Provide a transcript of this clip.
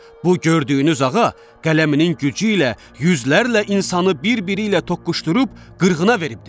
Bu gördüyünüz ağa qələminin gücü ilə yüzlərlə insanı bir-biri ilə toqquşdurub qırğına veribdir.